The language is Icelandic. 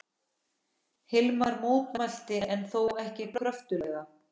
Hilmar mótmælti en þó ekki kröftuglega.